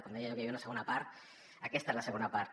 quan deia jo que hi havia una segona part aquesta és la segona part